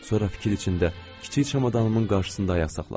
Sonra fikir içində kiçik çamadanımın qarşısında ayaq saxladım.